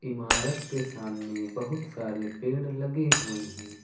इमारत के सामने बहुत सारे पेड़ लगे हुए हैं।